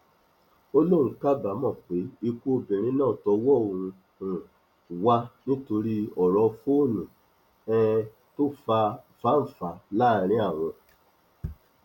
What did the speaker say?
ó lóun kábàámọ pé ikú obìnrin náà tọwọ òun um wà nítorí ọrọ fóònù um tó fa fáńfà láàrin àwọn